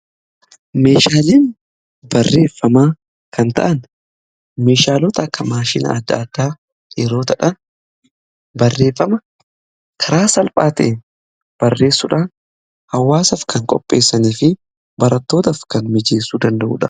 Meeshaaleen barreeffamaa kan ta'an meeshaalota akka maashina adda addaa yeroo ta'an, barreeffama karaa salphaa ta'een barreessuudhaan hawaasaaf kan qopheessanii fi barattootaaf kan mijeessuu danda'udha.